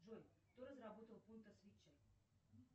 джой кто разработал пунто свитчер